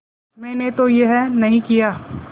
मैंने तो यह नहीं किया